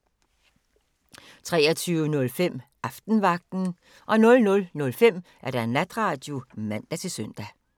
23:05: Aftenvagten 00:05: Natradio (man-søn)